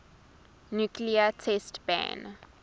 nuclear test ban